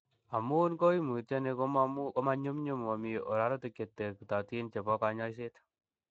Amun koimitioni konyumnyum, momi ororutik cheterektotin chebo konyoiset.